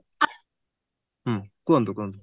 ହୁଁ କୁହନ୍ତୁ କୁହନ୍ତୁ